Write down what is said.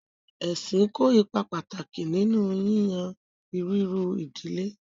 Ẹ̀ṣìn kò ípà pátákì nínú yíyàn iriru idílẹ̀.